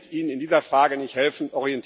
der wird Ihnen in dieser Frage nicht helfen.